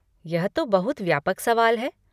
यह तो बहुत व्यापक सवाल है।